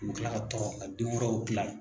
U bi kila ka tɔrɔ ka denwɛrɛw gilan.